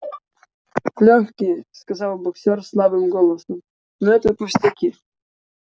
лёгкие сказал боксёр слабым голосом но это пустяки